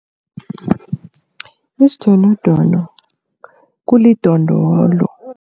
Isidonodono kulidondolo.